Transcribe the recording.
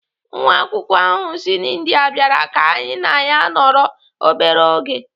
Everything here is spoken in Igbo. Nwa akwụkwọ ahụ si India bịara ka anyị na ya nọrọ obere oge.